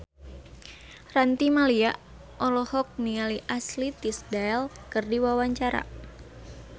Ranty Maria olohok ningali Ashley Tisdale keur diwawancara